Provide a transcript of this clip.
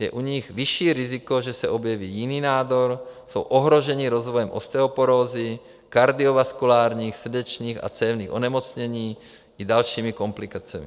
Je u nich vyšší riziko, že se objeví jiný nádor, jsou ohrožení rozvojem osteoporózy, kardiovaskulárních - srdečních a cévních - onemocnění, i dalšími komplikacemi.